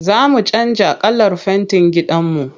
Za mu canja kalar fentin gidanmu.